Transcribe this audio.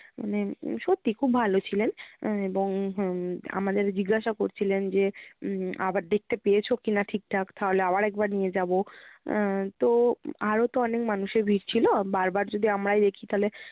মানে সত্যি খুব ভালো ছিলেন। এ~ এবং উম আমাদের জিজ্ঞাসা করছিলেন যে উম আবার দেখতে পেয়েছো কি-না ঠিক ঠাক? তাহলে আবার একবার নিয়ে যাবো। আহ তো আরও তো অনেক মানুষের ভিড় ছিলো, বারবার যদি আমরাই দেখি তাহলে